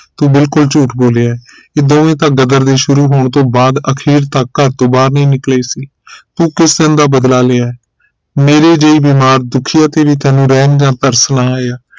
ਤੂੰ ਬਿਲਕੁਲ ਝੂਠ ਬੋਲਿਆ ਹੈ ਇਹ ਦੋਵੇਂ ਤਾਂ ਗ਼ਦਰ ਸ਼ੁਰੂ ਹੋਣ ਤੋਂ ਬਾਅਦ ਅਖੀਰ ਤਕ ਘਰ ਤੋਂ ਬਾਹਰ ਨਹੀਂ ਨਿਕਲੇ ਸੀ ਤੂੰ ਕਿਸ ਸਨ ਦਾ ਬਦਲਾ ਲਿਆ ਹੈ ਮੇਰੀ ਜਿਹੀ ਬੀਮਾਰ ਦੁਖੀ ਤੇ ਵੀ ਤੈਨੂੰ ਰਹਿਮ ਜਾ ਤਰਸ ਨਾ ਆਇਆ